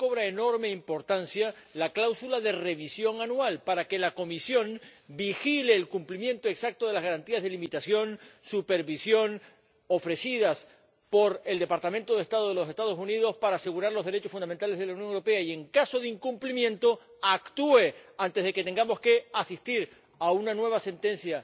Y aquí cobra enorme importancia la cláusula de revisión anual para que la Comisión vigile el cumplimiento exacto de las garantías de limitación y supervisión ofrecidas por el Departamento de Estado de los Estados Unidos para asegurar los derechos fundamentales de la Unión Europea, y, en caso de incumplimiento, actúe antes de que tengamos que asistir a una nueva sentencia